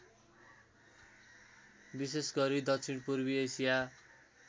विशेषगरी दक्षिणपूर्वी एसिया